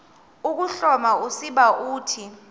ukuhloma usiba uthi